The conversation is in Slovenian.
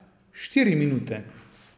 Štiri minute.